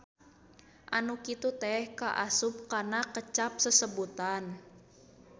Anu kitu teh kaasup kana kecap sesebutan.